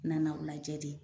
Nana o lajɛ de